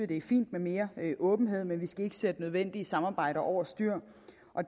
det er fint med mere åbenhed men man skal ikke sætte nødvendige samarbejder over styr